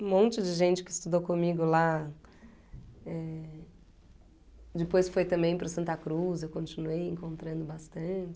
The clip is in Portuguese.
Um monte de gente que estudou comigo lá, eh... Depois foi também para o Santa Cruz, eu continuei encontrando